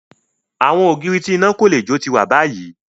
Awọn ogiri ti ina ko le jo ti wa bayi